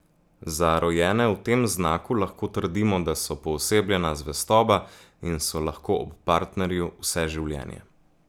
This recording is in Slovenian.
Za rojene v tem znaku lahko trdimo, da so poosebljena zvestoba in so lahko ob partnerju vse življenje.